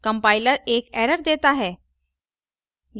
compiler एक error देता है